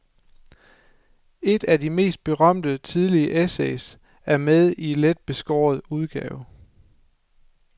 Et af de mest berømte tidlige essays er med i let beskåret udgave.